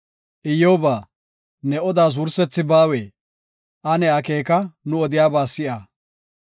“Iyyoba, ne odaas wursethi baawee? Ane akeeka; nu odiyaba si7a.